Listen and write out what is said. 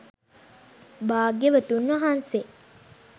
භාග්‍යවතුන් වහන්සේ